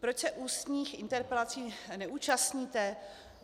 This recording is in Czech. Proč se ústních interpelací neúčastníte?